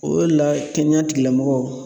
O le la kɛnɛya tigilamɔgɔw